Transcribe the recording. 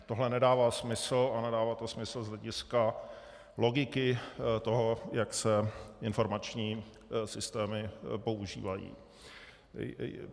Tohle nedává smysl a nedává to smysl z hlediska logiky toho, jak se informační systémy používají.